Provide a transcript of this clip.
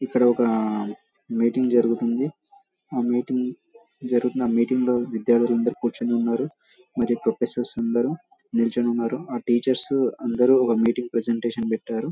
ఇక్కడ ఒక మీటింగ్ జరుగుతుంది. ఆ మీటింగు జరుగుతున్న మీటింగ్లో విద్యార్థులు అందరూ కూర్చోని ఉన్నారు. మరియు ప్రొఫెసర్స్ అందరూ నిల్చుని ఉన్నారు. ఆ టీచర్స్ అందరూ ఆ మీటింగ్ ని ప్రజెంటేషన్ పెట్టారు.